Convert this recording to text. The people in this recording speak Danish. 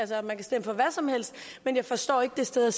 til at man kan stemme for hvad som helst men jeg forstår ikke det sted at